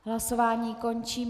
Hlasování končím.